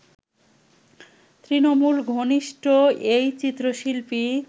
তৃণমূল ঘনিষ্ঠ এই চিত্রশিল্পী